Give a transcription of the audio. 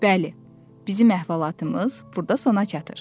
Bəli, bizim əhvalatımız burda sona çatır.